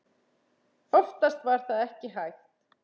Oftast var það ekki hægt.